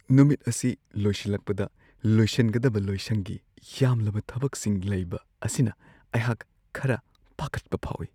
ꯅꯨꯃꯤꯠ ꯑꯁꯤ ꯂꯣꯏꯁꯤꯜꯂꯛꯄꯗ ꯂꯣꯏꯁꯤꯟꯒꯗꯕ ꯂꯣꯏꯁꯪꯒꯤ ꯌꯥꯝꯂꯕ ꯊꯕꯛꯁꯤꯡ ꯂꯩꯕ ꯑꯁꯤꯅ ꯑꯩꯍꯥꯛ ꯈꯔ ꯄꯥꯈꯠꯄ ꯐꯥꯎꯋꯤ ꯫